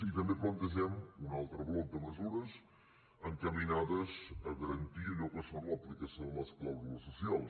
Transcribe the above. i també plantegem un altre bloc de mesures encaminades a garantir allò que és l’aplicació de les clàusules socials